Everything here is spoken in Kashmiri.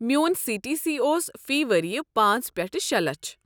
میٛون سی ٹی سی اوس فی ؤریہ پانژھ پٮ۪ٹھٕ شے لچھ۔